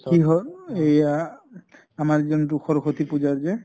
কি হʼল এইয়া আমাৰ যোন টো সৰস্ব্তি পুজা যে